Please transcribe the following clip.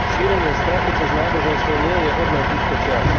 Šírenie strachu cez náboženstvo nie je hodné týchto čias.